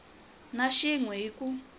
na xin we hi ku